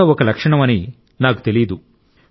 ఇది కూడా ఒక లక్షణం అని నాకు తెలియదు